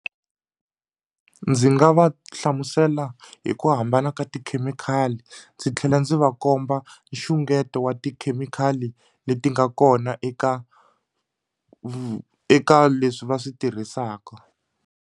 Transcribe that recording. Ndzi nga va hlamusela hi ku hambana ka tikhemikhali ndzi tlhela ndzi va komba nxungeto wa tikhemikhali leti nga kona eka eka leswi va swi tirhisaka.